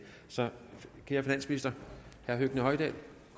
så kære finansminister herre høgni hoydal